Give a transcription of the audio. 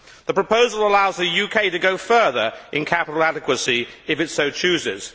The proposal allows the UK to go further in capital adequacy if it so chooses.